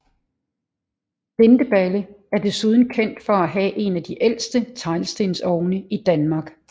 Lindeballe er desuden kendt for at have en af de ældste teglstensovne i Danmark